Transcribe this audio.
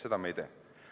Seda me ei tee.